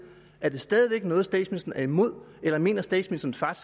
er det stadig væk noget statsministeren er imod eller mener statsministeren